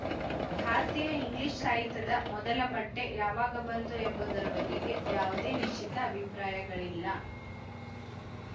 ಭಾರತೀಯ ಇಂಗ್ಲಿಶು ಸಾಹಿತ್ಯದ ಮೊದಲ ಪಠ್ಯ ಯಾವಾಗ ಬಂತು ಎಂಬುದರ ಬಗೆಗೆ ಯಾವುದೇ ನಿಶ್ಚಿತ ಅಭಿಪ್ರಾಯಗಳಿಲ್ಲ